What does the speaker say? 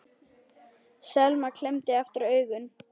Selma klemmdi aftur augun.